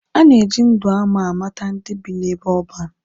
A na-eji ndụ ama amata ndị bi n'ebe ọban.